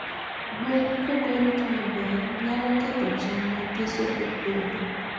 gwen kokorit maber nyaloketho cham mathiso e puodho.